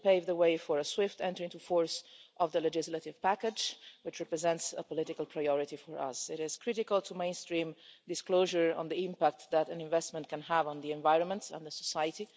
This will pave the way for a swift entry into force of the legislative package, which represents a political priority for us. It is critical to mainstream disclosure on the impact that an investment can have on the environment and society.